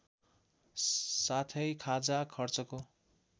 साथै खाजा खर्चको